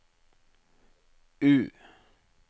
U